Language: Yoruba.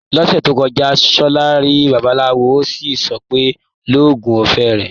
Lọ́sẹ̀ tó kọjá, Ṣọlá rí babaláwo, ó sì sọ pé "lóògùn ọfẹ o".